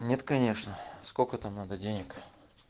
нет конечно сколько там надо денег